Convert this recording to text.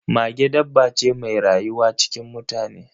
Mage dabba ce mai rayuwa cikin mutane